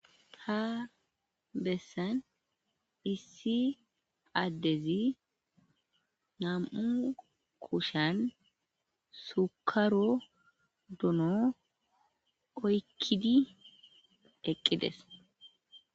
ha bessan issi addezi nam'u kushan sukaro duno oykkidi eqqides